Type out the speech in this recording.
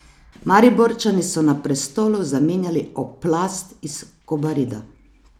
Mariborčani so na prestolu zamenjali Oplast iz Kobarida.